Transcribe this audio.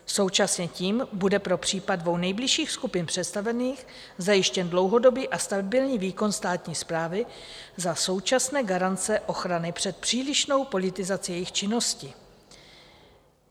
Současně tím bude pro případy dvou nejnižších skupin představených zajištěn dlouhodobý a stabilní výkon státní správy za současné garance ochrany před přílišnou politizací jejich činnosti.